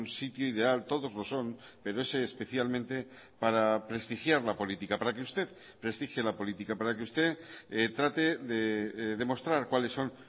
sitio ideal todos lo son pero ese especialmente para prestigiar la política para que usted prestigie la política para que usted trate de demostrar cuáles son